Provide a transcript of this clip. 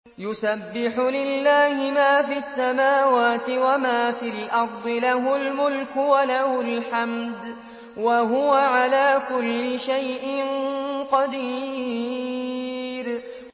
يُسَبِّحُ لِلَّهِ مَا فِي السَّمَاوَاتِ وَمَا فِي الْأَرْضِ ۖ لَهُ الْمُلْكُ وَلَهُ الْحَمْدُ ۖ وَهُوَ عَلَىٰ كُلِّ شَيْءٍ قَدِيرٌ